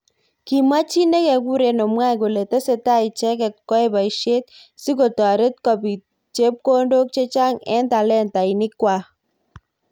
kimwa chi nekekure Owae kole tesetai icheket kwoe boishet sikotoret kobit chepkondok chechang eng talentinik kwak.